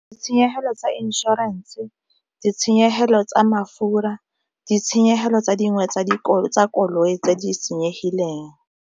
Ditshenyegelo tsa inšorense ditshenyegelo tsa mafura ditshenyegelo tsa dingwe tsa koloi tse di senyegileng.